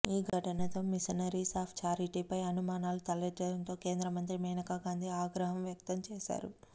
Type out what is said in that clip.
ఈ ఘటనతో missionaries of చారిటీపై అనుమానాలు తలెత్తడంతో కేంద్రమంత్రి మేనకా గాంధీ ఆగ్రహం వ్యక్తం చేశారు